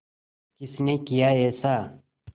किसने किया ऐसा